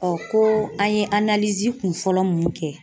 ko an ye kun fɔlɔ mun kɛ.